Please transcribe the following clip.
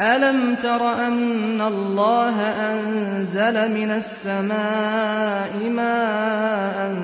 أَلَمْ تَرَ أَنَّ اللَّهَ أَنزَلَ مِنَ السَّمَاءِ مَاءً